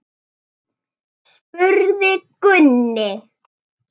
spurði Gunni.